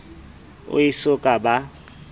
o e so ka ba